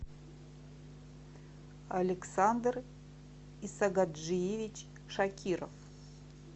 александр исагаджиевич шакиров